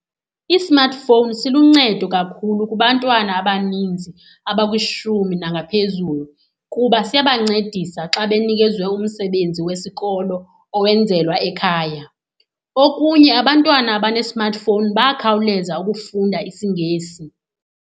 I-smartphone siluncedo kakhulu kubantwana abaninzi abakwishumi nangaphezulu kuba siyabancedisa xa benikezwe umsebenzi wesikolo owenzelwa ekhaya. Okunye, abantwana abane-smartphone bayakhawuleza ukufunda isiNgesi.